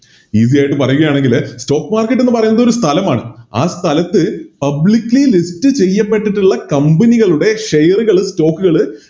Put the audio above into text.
Esay ആയിട്ട് പറയുകയാണെങ്കില് Stock market എന്ന് പറയുന്നതൊരു സ്ഥലമാണ് ആ സ്ഥലത്ത് Publicly list ചെയ്യപ്പെട്ടിട്ടുള്ള Company കളുടെ Share കള് Stock കള്